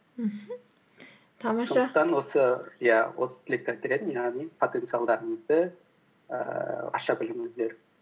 мхм тамаша сондықтан осы иә осы тілекті айтар едім яғни потенциалдарыңызды ііі аша біліңіздер